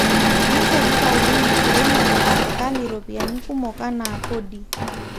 keishorita oleng enkiremore serikali ropiyani kumok anaa kodi